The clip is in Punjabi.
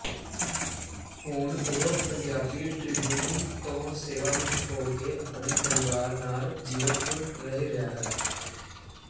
ਹੁਣ ਉਹ ਪੰਜਾਬੀ ਟ੍ਰਿਬਿਊਨ ਤੋਂ ਸੇਵਾਮੁਕਤ ਹੋ ਕੇ ਆਪਣੇ ਪਰਿਵਾਰ ਨਾਲ ਜ਼ੀਰਕਪੁਰ ਰਹਿ ਰਿਹਾਂ ਹਾਂ